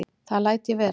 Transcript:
Það læt ég vera